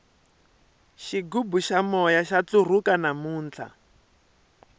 xigubu xa moya xa ntlurhuka namuntlha